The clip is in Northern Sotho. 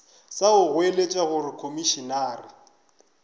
sa go goeletša gore komišenare